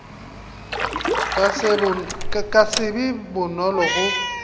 ka se be bonolo go